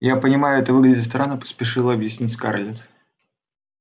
я понимаю это выглядит странно поспешила объяснить скарлетт